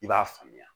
I b'a faamuya